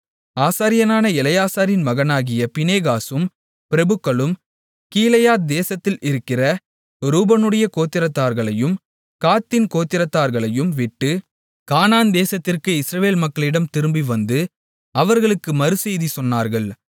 ஆசாரியனான எலெயாசாரின் மகனாகிய பினெகாசும் பிரபுக்களும் கீலேயாத் தேசத்தில் இருக்கிற ரூபனுடைய கோத்திரத்தார்களையும் காத்தின் கோத்திரத்தார்களையும் விட்டு கானான் தேசத்திற்கு இஸ்ரவேல் மக்களிடம் திரும்பிவந்து அவர்களுக்கு மறுசெய்தி சொன்னார்கள்